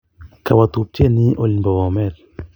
Kawo tupchennyi olin po Bomet